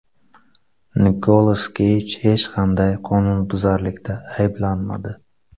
Nikolas Keyj hech qanday qonunbuzarlikda ayblanmadi.